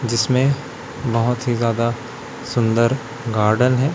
जिसमें बहुत ही ज्यादा सुंदर गार्डन है।